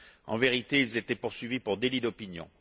En vérité, ils étaient poursuivis pour délit d'opinion